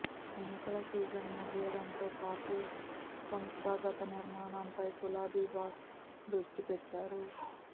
ఎన్నికల సీజన్ ముగియడంతో పార్టీ సంస్థాగత నిర్మాణంపై గులాబీ బాస్ దృష్టిపెట్టారు